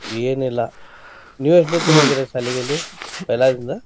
ಏನಿಲ್ಲಾ ನೀವ ಎಷ್ಟನತ್ತೆ ಶಾಲಿಯಲ್ಲಿ? पैला ದಿಂದ.